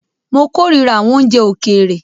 Mó kòrira àwọn oúnjẹ òkèèrè.